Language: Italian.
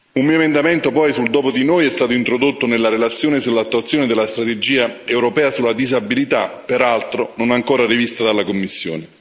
Un mio emendamento sul dopo di noi è stato introdotto nella relazione sull'attuazione della strategia europea sulla disabilità, peraltro non ancora rivista dalla Commissione.